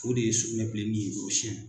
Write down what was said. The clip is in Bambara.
O de ye sugunɛ bilenni ye gorosiɛn.